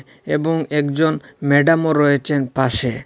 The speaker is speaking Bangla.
এবং একজন ম্যাডাম -ও রয়েচেন পাশে।